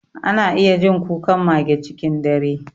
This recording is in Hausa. Ana iya jin kukan mage cikin dare.